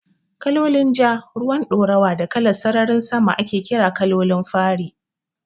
Kalolin Ja, ruwan ɗoruwa da kalan sararin sama ake ƙira Kalolin fari